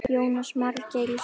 Jónas Margeir: Í sumar?